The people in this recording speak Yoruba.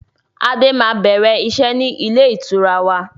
Adé máa bẹ̀rẹ̀ iṣẹ́ ni ilé ìtura wa